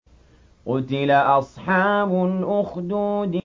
قُتِلَ أَصْحَابُ الْأُخْدُودِ